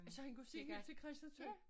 Så han kunne se helt til Christiansø?